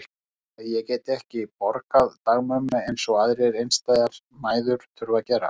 Heldurðu að ég geti ekki borgað dagmömmu eins og aðrar einstæðar mæður þurfa að gera?